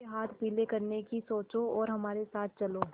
उसके हाथ पीले करने की सोचो और हमारे साथ चलो